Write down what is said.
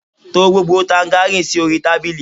To gbogbo tangaríìnì sí orí tábìlì!